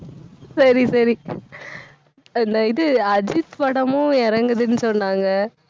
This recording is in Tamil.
சரி, சரி. அந்த இது அஜித் படமும் இறங்குதுன்னு சொன்னாங்க